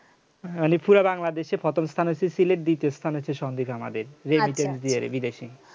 অরে পুরা বাংলাদেশে প্রথম স্থান হচ্ছে সিলেট আর দ্বিতীয় স্থান হচ্ছে সন্দ্বীপ আমাদের দিয়ে আরে বিদেশী